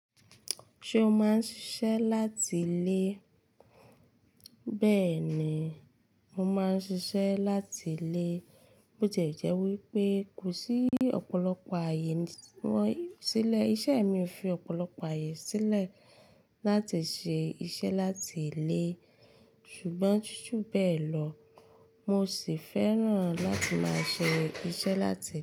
Ṣé o máa ń ṣiṣẹ́ láti ilé? Bẹẹni, mo máa ń ṣiṣẹ́ láti ilé. Bó tie jé wí pé kò sí ọ̀pọ̀lọpọ̀ ààyè tí wọ́n silẹ. Iṣẹ́ mi o fi ọ̀pọ̀lọpọ̀ ààyè sílẹ̀ láti ṣe iṣẹ́ láti ilé. Ṣùgbọ́n ju bẹ́ẹ̀ lọ, mo sì fẹ́ràn láti máa ṣe iṣẹ́ láti ilé.